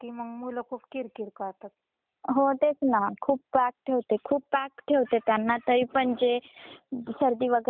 हो तेच ना खूप ताठ ठेवते खूप ताठ ठेवते त्यांना तरीपण जे सर्दी वैगरे झाली व्हायची ती झालीच ए.